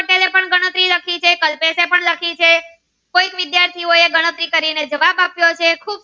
ખુબ ગણતરી લખી છે કલ્પેશ એ પણ લખી છે કોઈક વિદ્યાર્થી નો એ ગણતરી કરીને જવાબ આપ્યો છે